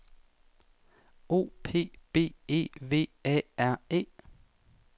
O P B E V A R E